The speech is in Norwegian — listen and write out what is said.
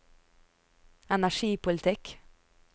energipolitikk